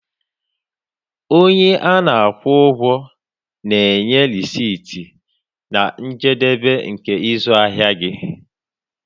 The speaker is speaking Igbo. Onye ana-akwụ ụgwọ na-enye rèsịtị na njedebe nke ịzụ ahịa gị.